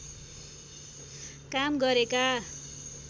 काम गरेका